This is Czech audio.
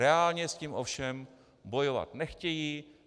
Reálně s tím ovšem bojovat nechtějí.